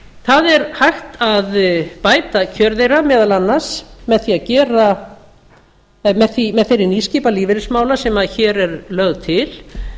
það er hægt að bæta kjör þeirra meðal annars með þeirri nýskipan lífeyrismála sem hér er lögð til